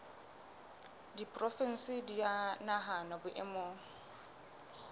diporofensi di a nahanwa boemong